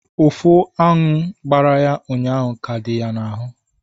Ụfụ aṅụ gbara ya ụnyaahụ ka dị ya n'ahụ